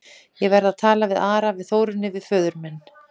Ég verð að tala við Ara, við Þórunni, við föður minn.